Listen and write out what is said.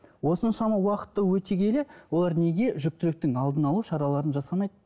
осыншама уақытты өте келе олар неге жүкітіліктің алдын алу шараларын жасамайды